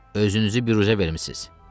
Özünüzü biruzə vermisiz!